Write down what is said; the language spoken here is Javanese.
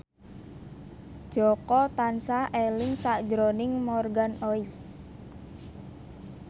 Jaka tansah eling sakjroning Morgan Oey